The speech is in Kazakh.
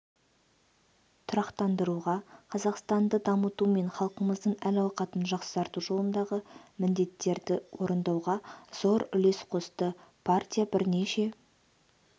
тұрақтандыруға қазақстанды дамыту мен халқымыздың әл-ауқатын жақсарту жолындағы міндеттерді орындауға зор үлес қосты партия бірнеше